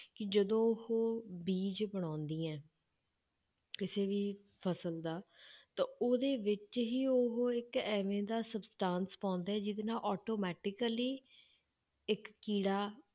ਕਿ ਜਦੋਂ ਉਹ ਬੀਜ਼ ਬਣਾਉਂਦੀਆਂ ਹੈ ਕਿਸੇ ਵੀ ਫਸਲ ਦਾ ਤਾਂ ਉਹਦੇ ਵਿੱਚ ਹੀ ਉਹ ਇੱਕ ਐਵੇਂ ਦਾ substance ਪਾਉਂਦੇ ਆ ਜਿਹਦੇ ਨਾਲ automatically ਇੱਕ ਕੀੜਾ